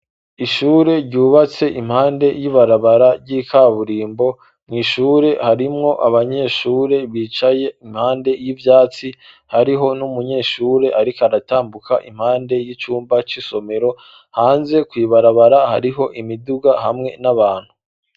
Ishure ryubatse impande y'ibarabara ry'ikaburimbo mw'ishure harimwo abanyeshure bicaye impande y'ivyatsi hariho n'umunyeshure ariko aratambuka impande y'icumba c'isomero hanze kw'ibarabara hariho imiduga hamwe n'abantu.